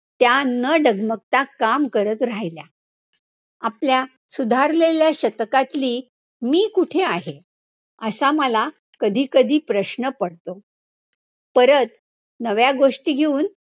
त्या न डगमगता काम करत राहिल्या, आपल्या सुधारलेल्या शतकातली मी कुठे आहे, असा मला कधी कधी प्रश्न पडतो, परत नव्या गोष्टी घेऊन